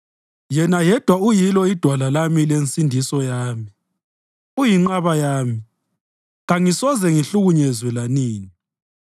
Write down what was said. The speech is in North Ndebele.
Yena yedwa uyilo idwala lami lensindiso yami; uyinqaba yami, kangisoze ngihlukunyezwe lanini.